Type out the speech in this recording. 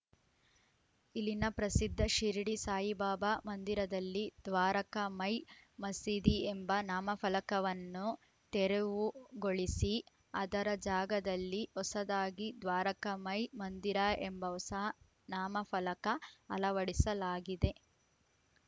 ಇಲ್ಲಿನ ಪ್ರಸಿದ್ಧ ಶಿರಡಿ ಸಾಯಿಬಾಬಾ ಮಂದಿರದಲ್ಲಿ ದ್ವಾರಕಾಮಾಯ್‌ ಮಸೀದಿ ಎಂಬ ನಾಮಫಲಕವನ್ನು ತೆರವುಗೊಳಿಸಿ ಅದರ ಜಾಗದಲ್ಲಿ ಹೊಸದಾಗಿ ದ್ವಾರಕಾಮಾಯ್‌ ಮಂದಿರ ಎಂಬ ಹೊಸ ನಾಮಫಲಕ ಅಳವಡಿಸಲಾಗಿದೆ